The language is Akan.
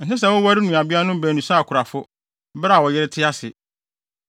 “ ‘Ɛnsɛ sɛ woware nuabeanom baanu sɛ akorafo, bere a wo yere te ase.